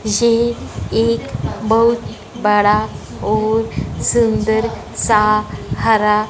ये एक बहुत बड़ा और सुंदर सा हरा--